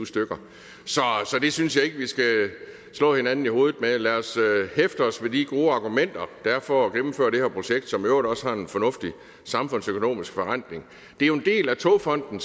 så det synes jeg ikke vi skal slå hinanden i hovedet med lad os hæfte os ved de gode argumenter der er for at gennemføre det her projekt som i øvrigt også har en fornuftig samfundsøkonomisk forrentning det er jo en del af togfonden